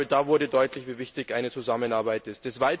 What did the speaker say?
Da wurde deutlich, wie wichtig eine Zusammenarbeit ist.